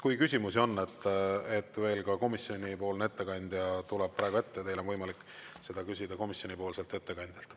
Kui küsimusi on, veel ka komisjonipoolne ettekandja tuleb praegu ette, teil on võimalik seda küsida komisjonipoolselt ettekandjalt.